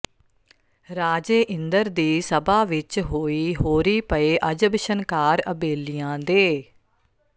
ਰਾਜੇ ਇੰਦਰ ਦੀ ਸਭਾ ਵਿੱਚ ਹੋਈ ਹੋਰੀ ਪਏ ਅਜਬ ਛਨਕਾਰ ਅਬੇਲੀਆਂ ਦੇ